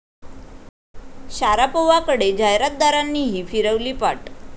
शारापोव्हाकडे जाहिरातदारांनीही फिरवली पाठ